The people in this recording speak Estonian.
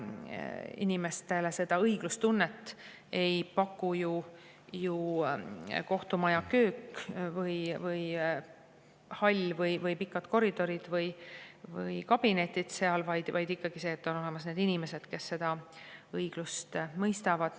Inimestele ei taga õiglustunnet ju kohtumaja köök või hall või pikad koridorid ja kabinetid seal, vaid ikkagi see, et on olemas inimesed, kes õigust mõistavad.